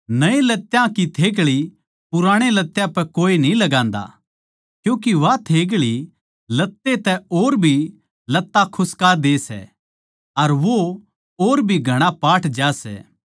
नये लत्यां की थेग्ळी पुराणे लत्यां पे कोए न्ही लगान्दा क्यूँके वा थेग्ळी लत्ते तै और भी लत्ता खुस्का दे सै अर वो और भी घणा पाट ज्या सै